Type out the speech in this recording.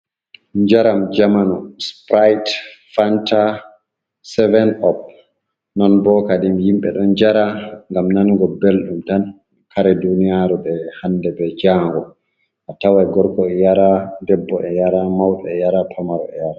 Jaram je zamanu. Sipirat, fanta, seven op. Non bo kaɗim yimbe ɗon jara gam nanugo belɗum tan. Kare ɗuniyaru be hanɗe be jango attawai gorgo e yara ɗebbo e yara maube e yara pamaro e yara.